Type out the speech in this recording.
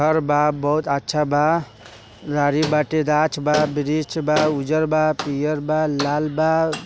घर बा बहुत अच्छा बा गाछ बा ब्रिज बा उजड़ बा पियर बा लाल बा।